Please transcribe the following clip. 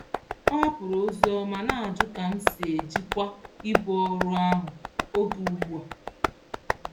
Ọ hapụrụ ozi ọma na-ajụ ka m si ejikwa ibu ọrụ ahụ oge ugbu a.